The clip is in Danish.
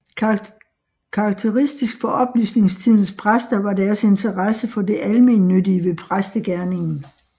Karakteristisk for oplysningstidens præster var deres interesse for det almennyttige ved præstegerningen